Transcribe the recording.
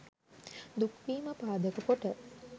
දුක් වීම පාදක කොට